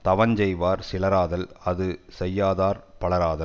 தவஞ் செய்வார் சிலராதல் அது செய்யதார் பலராதல்